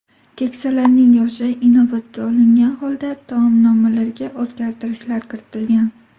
Keksalarning yoshi inobatga olingan holda taomnomalarga o‘zgartirishlar kiritilgan.